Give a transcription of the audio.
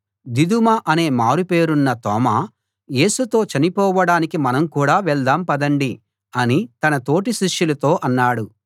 దిదుమ అనే మారుపేరున్న తోమా యేసుతో చనిపోవడానికి మనం కూడా వెళ్దాం పదండి అని తన తోటి శిష్యులతో అన్నాడు